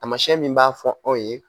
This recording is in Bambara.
Tamasiyɛn min b'a fɔ anw ye